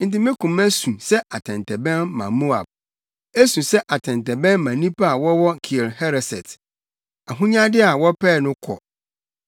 “Enti me koma su sɛ atɛntɛbɛn ma Moab; esu sɛ atɛntɛbɛn ma nnipa a wɔwɔ Kir Hereset. Ahonyade a wɔpɛe no kɔ.